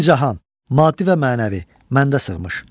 İki cahan, maddi və mənəvi, məndə sığmış.